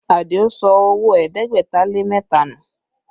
Adio sọ owó ẹ̀ẹ́dẹ́gbẹ̀ta lé mẹ́ta nù